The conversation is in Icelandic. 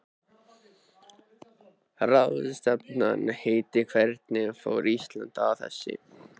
Ráðstefnan heitir Hvernig fór Ísland að þessu?